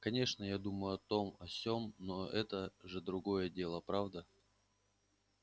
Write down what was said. конечно я думал о том о сём но это же другое дело правда